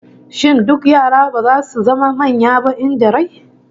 Shin duk yara ba zasu zama manya ba in da rai?